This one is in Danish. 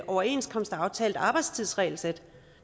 overenskomstaftalt arbejdstidsregelsæt